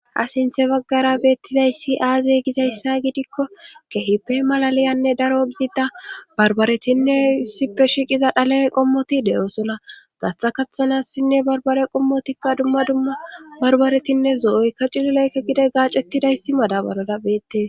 Ha sinthe baggara beettizayssi aaze gizayssa gidikko kehipe malaliyanne daro gidida barbaretinne issipe shiiqiza dhale qommoti de7osola gatxa kaththanassinne barbare qommotikka dumma dumma barbaretinne zo7oykka cilileykke gide gaacettidayssi madabalara beettes.